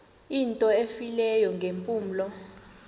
into efileyo ngeempumlo